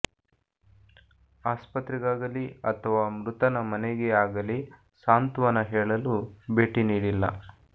ಆಸ್ಪತ್ರೆಗಾಗಲಿ ಅಥಾವ ಮೃತನ ಮನೆಗೆ ಆಗಲಿ ಸಾಂತ್ವನ ಹೇಳಲು ಭೇಟಿ ನೀಡಿಲ್ಲ